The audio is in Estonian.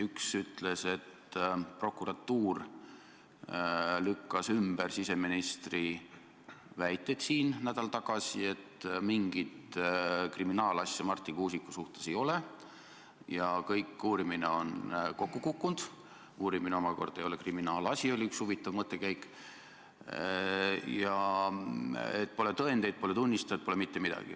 Üks uudis oli, et prokuratuur lükkas ümber siseministri väited, mis ta tõi nädal tagasi, et mingit kriminaalasja Marti Kuusiku vastu ei ole, uurimine on kokku kukkunud – uurimine omakorda ei ole kriminaalasi, oli üks huvitav mõttekäik – ja pole tõendeid, pole tunnistajaid, pole mitte midagi.